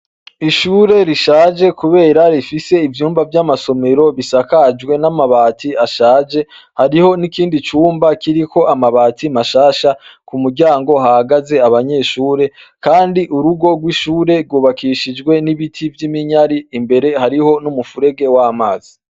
Ishure rishaje Kubera ifise ivyumba vyamasomero bishakajwe n'amabati ashaje. Hariho nikindi cumba kiriko amabati mashasha ku muryango hahagaze abanyeshure kandi urugo rwishure rwubakishijwe n'ibiti vy'iminyari. Imbere hariho n'umufurege w'amazi.